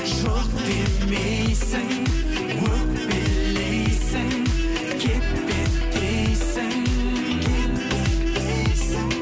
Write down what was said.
жоқ демейсің өкпелейсің кет кет дейсің кет кет дейсің